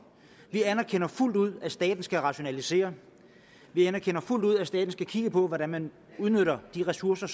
vi anerkender fuldt ud at staten skal rationalisere vi anerkender fuldt ud at staten skal kigge på hvordan man udnytter de ressourcer